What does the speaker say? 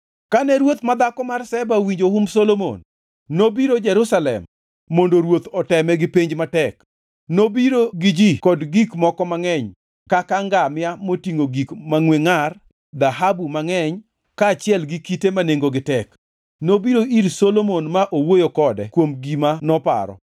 Kane ruoth madhako mar Sheba owinjo humb Solomon, nobiro Jerusalem mondo ruoth oteme gi penj matek. Nobiro gi ji kod gik moko mangʼeny kaka ngamia motingʼo gik mangʼwe ngʼar, dhahabu mangʼeny, kaachiel gi kite ma nengogi tek. Nobiro ir Solomon ma owuoyo kode kuom gima noparo.